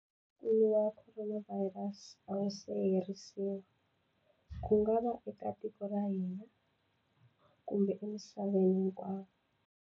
Ntungukulu wa Khoronavhayirasi a wu se herisiwa, ku nga va eka tiko ra ka hina kumbe emisaveni hinkwayo.